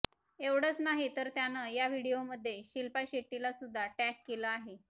एवढंच नाही तर त्यानं या व्हिडीओमध्ये शिल्पा शेट्टीला सुद्धा टॅग केलं आहे